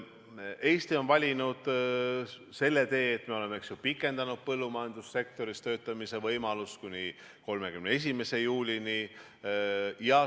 Eesti on valinud selle tee, et me oleme pikendanud põllumajandussektoris töötamise võimalust kuni 31. juulini.